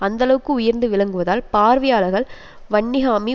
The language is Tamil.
அந்தளவுக்கு உயர்ந்து விளங்குவதால் பார்வையாளர்கள் வன்னிஹாமி